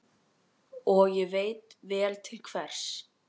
Og hvað var svo sem eðlilegra við slíkar aðstæður?